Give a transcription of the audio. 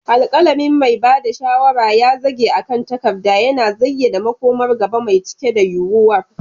Alƙalamin mai ba da shawara ya zage akan takarda, yana zayyana makomar gaba mai cike da yuwuwar.